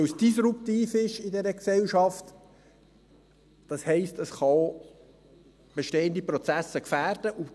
Weil es disruptiv ist in dieser Gesellschaft, heisst das, dass es auch bestehende Prozesse gefährden kann.